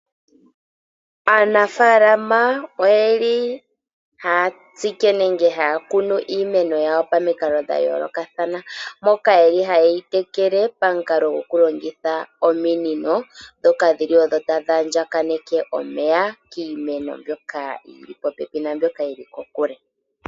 Aanafaalama oyeli haya tsike nenge haya kunu iimeno yawo pomikalo dhayoolokathana moka yeli hayeyi tekele pamukalo gokulongitha ominino dhoka dhili odho tadhi handjakaneke omeya kiimeno mbyoka yili popepi naambyoka yili kokule.